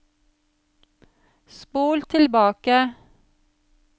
spol tilbake